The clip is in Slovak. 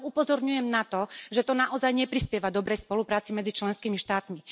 A len upozorňujem na to, že to naozaj neprispieva dobrej spolupráci medzi členskými štátmi.